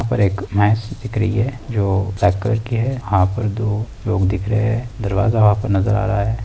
यहाँ पर एक भैंस दिख रही है जो यहाँ पर दो लोग दिख रहे हैं दरवाजा वहाँ पर नजर आ रहा है।